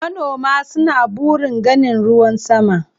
Manoma suna burin ganin ruwan sama.